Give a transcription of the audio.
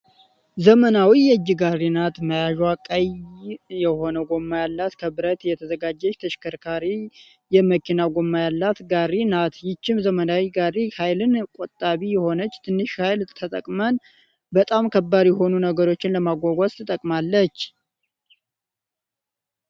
ዘመናዊ የእጅ ጋሬ ናት። መያዠዋ ቀይ የሆነ ጎማ ያላት ከብረት የተዘጋጀች ተሽከርካሪ የመኪና ጎማ ያላት ጋሪ ናት። ይች ዘመናዊ ጋሪ ሀይልን ቆጣቢ የሆነች ትንሽ ሀይል ተጠቅመን በጣም ከባድ የሆኑ ነገሮችን ለማጓጓዝ ትጠቅማለች።